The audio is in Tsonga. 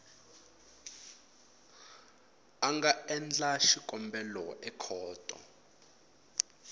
a nga endla xikombelo ekhoto